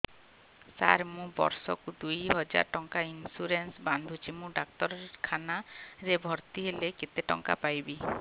ସାର ମୁ ବର୍ଷ କୁ ଦୁଇ ହଜାର ଟଙ୍କା ଇନ୍ସୁରେନ୍ସ ବାନ୍ଧୁଛି ମୁ ଡାକ୍ତରଖାନା ରେ ଭର୍ତ୍ତିହେଲେ କେତେଟଙ୍କା ପାଇବି